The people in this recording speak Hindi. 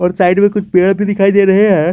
और साइड में कुछ पेड़ भी दिखाई दे रहे हैं।